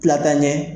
Tila ka ɲɛ